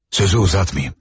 Sözü uzatmayım.